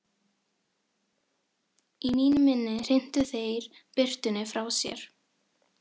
Í mínu minni hrintu þeir birtunni frá sér.